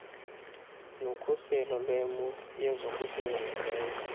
nokhuselo lwemo yezokusingqongileyo